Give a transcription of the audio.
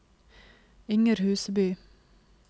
Inger Huseby